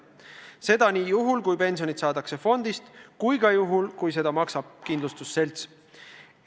Seda nii juhul, kui pensionit saadakse fondist, kui ka juhul, kui seda maksab kindlustusselts.